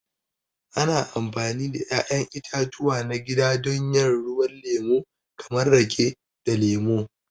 Ana amfani da 'ya'yan itatuwa na gida don yin ruwan lemo kamar rake da lemu.